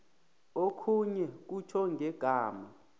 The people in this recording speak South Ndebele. okhunye kutjho ngegama